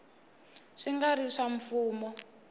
swi nga ri swa mfumo